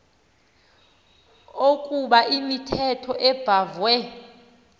ukoba imithetho ebhahve